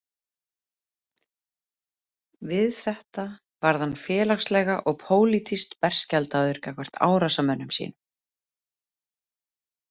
Við þetta varð hann félagslega og pólitískt berskjaldaður gagnvart árásarmönnum sínum.